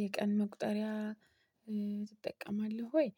የቀን መቁጠሪያ ትጠቀማለህ ወይ?